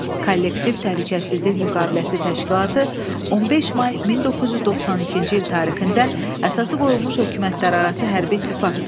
Kollektiv təhlükəsizlik müqaviləsi təşkilatı 15 may 1992-ci il tarixində əsası qoyulmuş hökumətlərarası hərbi ittifaqdır.